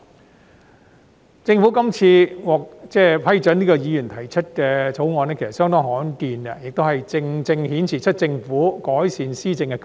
其實政府這次批准議員提出議員法案是相當罕見，正正顯示出政府改善施政的決心。